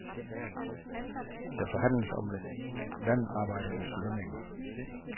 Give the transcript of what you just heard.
Der forhandles om landarbejdernes lønninger.